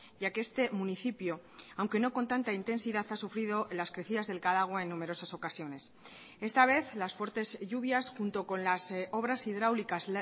ya que este municipio aunque no con tanta intensidad ha sufrido las crecidas del cadagua en numerosas ocasiones esta vez las fuertes lluvias junto con las obras hidráulicas